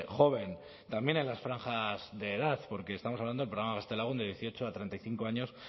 joven también en las franjas de edad porque estamos hablando del programa gaztelagun de dieciocho a treinta y cinco años